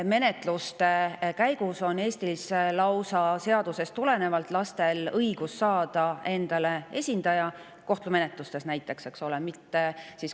Näiteks on lastel Eestis lausa seadusest tulenevalt õigus saada teatud kohtumenetlusteks endale esindaja.